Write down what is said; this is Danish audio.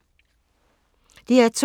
DR2